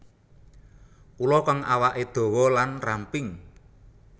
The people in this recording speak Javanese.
Ula kang awaké dawa lan ramping